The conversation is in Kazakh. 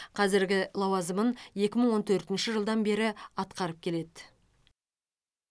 қазіргі лауазымын екі мың он төртінші жылдан бері атқарып келеді